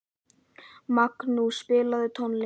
Magnús, spilaðu tónlist.